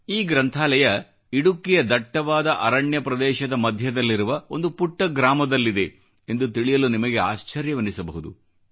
ಈ ಗ್ರಂಥಾಲಯ ಇಡುಕ್ಕಿಯ ದಟ್ಟವಾದ ಅರಣ್ಯ ಪ್ರದೇಶದ ಮಧ್ಯದಲ್ಲಿರುವ ಒಂದು ಪುಟ್ಟ ಗ್ರಾಮದಲ್ಲಿದೆ ಎಂದು ತಿಳಿಯಲು ನಿಮಗೆ ಆಶ್ಚರ್ಯವೆನ್ನಿಸಬಹುದು